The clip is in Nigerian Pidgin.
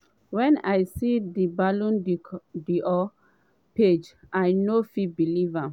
“wen i see di ballon d’or page i no fit believe am.